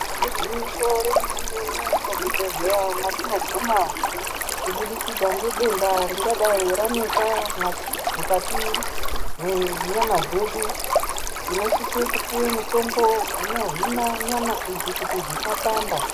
Igwinyiso remene mene muzvibhedhleya matinoguma kubudikidza ngedenda ringadai ranesa mukati mwenyama dzedu tinosise kupuwe mitombo unohina nyama idzi kuti dzisapanda.